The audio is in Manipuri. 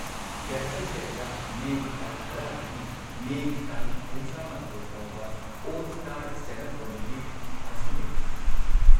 ꯗ ꯍꯦꯕꯤꯇꯦꯠꯇ ꯃꯦꯒꯤ ꯇꯥꯡ ꯱꯰ꯗꯒꯤ ꯃꯦꯒꯤ ꯇꯥꯡ ꯳꯱ ꯐꯥꯎꯕ 'ꯑꯣꯜ-ꯁ꯭ꯇꯥꯔ ꯁ꯭ꯇꯦꯟꯗ ꯑꯞ ꯀꯣꯃꯦꯗꯤ" ꯑꯁꯤ ꯂꯩ꯫